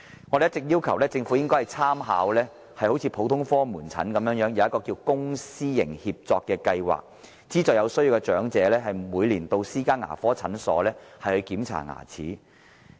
我們一直要求政府參考普通科門診的做法，實行公私營協作計劃，資助有需要的長者每年到私家牙科診所檢查牙齒。